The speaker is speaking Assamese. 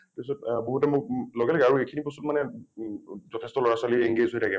তাৰ পিছত অ বহুতে মোক আৰু এইখিনি বস্তুত মানে ম যথেষ্ট লৰা ছোৱালী engage হৈ থাকে ।